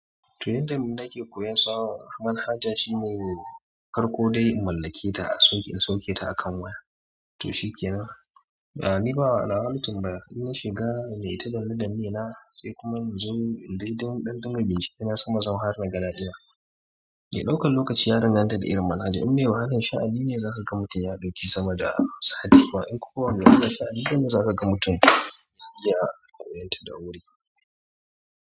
Toh yanda yanxu na ke koyan sauran, aman haja shine farko dai in mallake ta a sunk'in sauke ta a kan waya. To shikenan, ba'a ni ba a lawalcin ba, kafin na shiga na yi ta danne danne na da me na, sai kuma in zo in dai don ɗan ɗanyin bincike na sama zan haɗa ni da gaɗa ɗina. Eh ɗaukan lokaci ya danganta da irin manhaja, in me wahalan sha'ani ne zaka ga mutum ya ɗauki sama da satiba, in kuwa wanda yana sha'ani gaba zaka ga mutum ya iya har yanta da wuri.